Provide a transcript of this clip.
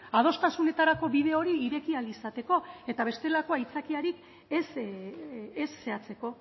adostasunerako bide hori ireki ahal izateko eta bestelako aitzakiari ez zehatzeko